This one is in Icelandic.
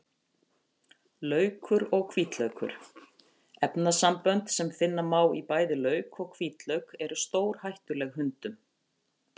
Laukur og hvítlaukur: Efnasambönd sem finna má í bæði lauk og hvítlauk eru stórhættuleg hundum.